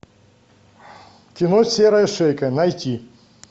кино серая шейка найти